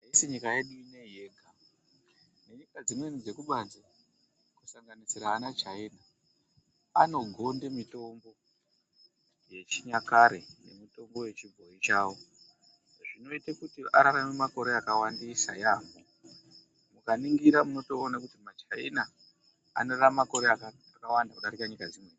Haisi nyika yedu ineyi yega. Nyika zvimweni dzekubanzi kusanganisira ana China anogonde mitombo yechinyakare. Mitombo yechibhoyi chaiwo. Zvinoita kuti ararame makore akawandisa yamho. Mukaningira munotoona kuti maChina anorarama makore akawanda kudarika nyika dzimwe.